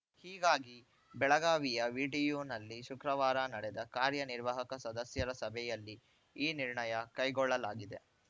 ಹೀಗಾಗಿ ಬೆಳಗಾವಿಯ ವಿಟಿಯುನಲ್ಲಿ ಶುಕ್ರವಾರ ನಡೆದ ಕಾರ್ಯನಿರ್ವಾಹಕ ಸದಸ್ಯರ ಸಭೆಯಲ್ಲಿ ಈ ನಿರ್ಣಯ ಕೈಗೊಳ್ಳಲಾಗಿದೆ